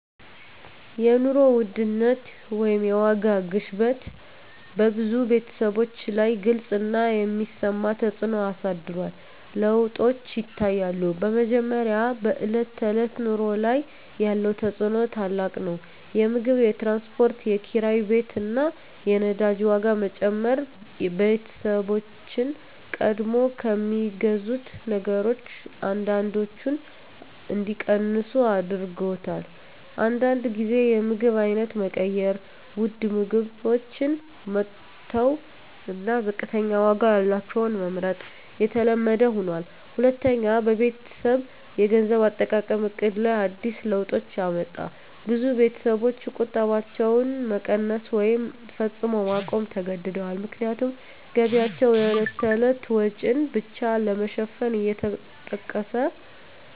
የኑሮ ውድነት (የዋጋ ግሽበት) በብዙ ቤተሰቦች ላይ ግልጽ እና የሚሰማ ተፅዕኖ አሳድሯል። ለውጦች ይታያሉ፦ በመጀመሪያ፣ በዕለት ተዕለት ኑሮ ላይ ያለው ተፅዕኖ ታላቅ ነው። የምግብ፣ የትራንስፖርት፣ የኪራይ ቤት እና የነዳጅ ዋጋ መጨመር ቤተሰቦችን ቀድሞ ከሚገዙት ነገሮች አንዳንዶቹን እንዲቀንሱ አድርጎአል። አንዳንድ ጊዜ የምግብ አይነት መቀየር (ውድ ምግቦችን መተው እና ዝቅተኛ ዋጋ ያላቸውን መመርጥ) የተለመደ ሆኗል። ሁለተኛ፣ በቤተሰብ የገንዘብ አጠቃቀም ዕቅድ ላይ አዲስ ለውጦች አመጣ። ብዙ ቤተሰቦች ቁጠባቸውን መቀነስ ወይም ፈጽሞ ማቆም ተገድደዋል፣ ምክንያቱም ገቢያቸው የዕለት ተዕለት ወጪን ብቻ ለመሸፈን እየተጠቀሰ